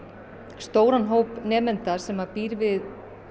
stóran hóp nemenda sem býr við